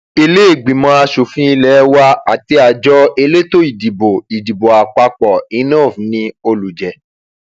ìlèégbínímọ asòfin ilé wa àti àjọ elétò ìdìbò ìdìbò àpapọ inov ni olùjẹ